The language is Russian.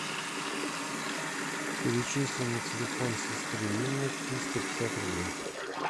перечисли на телефон сестры инны триста пятьдесят рублей